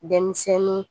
Denmisɛnnin